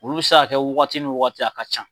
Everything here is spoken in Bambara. Olu bɛ se ka kɛ wagati ni wagati a ka ca.